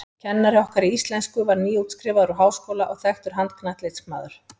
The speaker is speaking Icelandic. Kennari okkar í íslensku var nýútskrifaður úr háskóla og þekktur handknattleiksmaður.